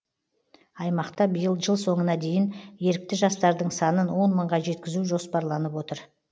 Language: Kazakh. аймақта биыл жыл соңына дейін ерікті жастардың санын он мыңға жеткізу жоспарланып отыр